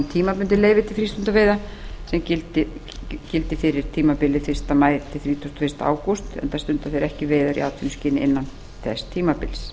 tímabundin leyfi til frístundaveiða sem gildi fyrir tímabilið fyrsta maí til þrítugasta og fyrsta ágúst enda stundi þeir ekki veiðar í atvinnuskyni innan þess tímabils